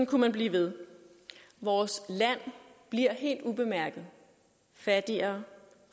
kunne man blive ved vores land bliver helt ubemærket fattigere